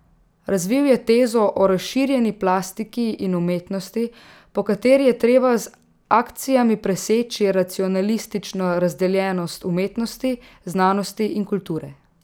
Razvil je tezo o razširjeni plastiki in umetnosti, po kateri je treba z akcijami preseči racionalistično razdeljenost umetnosti, znanosti in kulture.